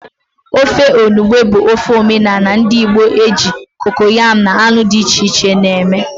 Ofe enugbe bụ ofe omenala ndị Igbo e ji kokoyam na anụ dị iche iche eme.